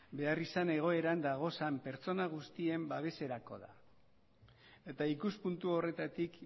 beharrizan egoeran dagozan pertsona guztien babeserako da eta ikuspuntu horretatik